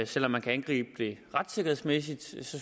selv om man kan angribe det retssikkerhedsmæssigt synes